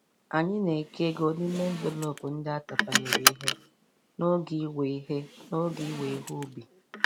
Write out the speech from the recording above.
Amyị na-eke ego n'ime envelop ndị a tapanyere ihe n'oge iwe ihe n'oge iwe ihe ubi.